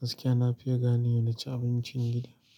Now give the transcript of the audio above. gaskiya na fiye gane wa na ci abincin gida.